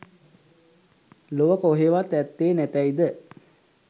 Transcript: ලොව කොහේවත් ඇත්තේ නැතැයි ද